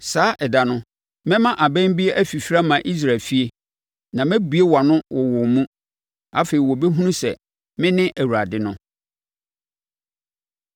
“Saa ɛda no, mɛma abɛn bi afifiri ama Israel efie, na mebue wʼano wɔ wɔn mu. Afei wɔbɛhunu sɛ mene Awurade no.”